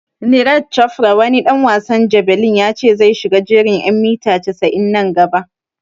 Neeraj Chofra wani ɗan wasan jabelin ya ce zai shiga jerin en mita casa'in nan gaba